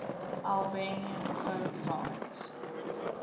albanian folk songs